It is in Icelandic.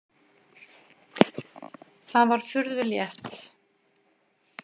Það var furðu létt.